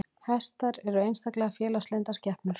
Hestar eru einstaklega félagslyndar skepnur.